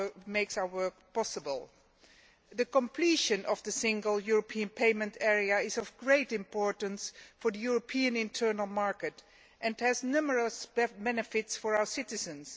makes our work possible. The completion of the Single European Payment Area is of great importance for the European internal market and has numerous benefits for our citizens.